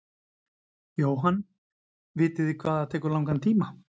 Jóhann: Vitið þið hvað það tekur langan tíma?